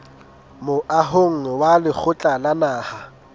moahong wa lekgotla la naha